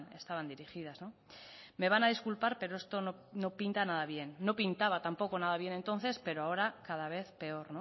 estaban dirigidas me van a disculpar pero esto no pinta nada bien no pintaba tampoco nada bien entonces pero ahora cada vez peor